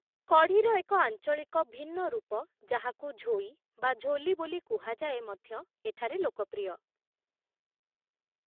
କଢ଼ିର ଏକ ଆଞ୍ଚଳିକ ଭିନ୍ନରୂପ, ଯାହାକୁ ଝୋଇ ବା ଝୋଲି ବୋଲି କୁହାଯାଏ ମଧ୍ୟ ଏଠାରେ ଲୋକପ୍ରିୟ ।